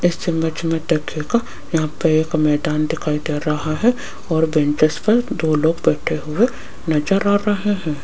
इस इमेज देखिएगा यहां पे एक मैदान दिखाई दे रहा है और बेंचस पे दो लोग बैठे हुए नजर आ रहे हैं।